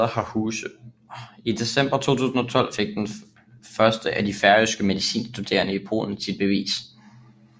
I december 2012 fik den første af de færøske medicinstuderende i Polen sit bevis